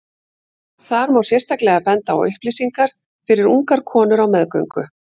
þar má sérstaklega benda á upplýsingar fyrir ungar konur á meðgöngu